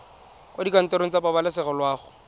kwa dikantorong tsa pabalesego loago